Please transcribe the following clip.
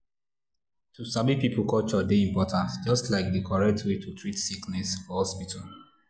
to sabi people culture dey important just like di correct way to treat sickness for hospital.